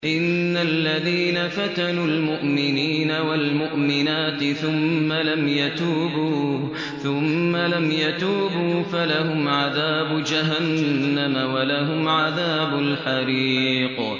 إِنَّ الَّذِينَ فَتَنُوا الْمُؤْمِنِينَ وَالْمُؤْمِنَاتِ ثُمَّ لَمْ يَتُوبُوا فَلَهُمْ عَذَابُ جَهَنَّمَ وَلَهُمْ عَذَابُ الْحَرِيقِ